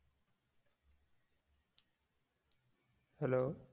hello